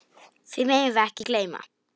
Því megum við ekki gleyma.